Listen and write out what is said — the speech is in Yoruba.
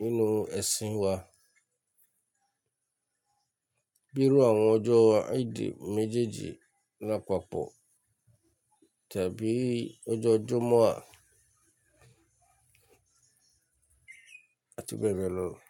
nínú ẹ̀sìn wa, bíi ru àwọn ọjọ́ Eid méjèèjì lápapọ̀ tàbí ọjọ́ Jumu'ah abbl.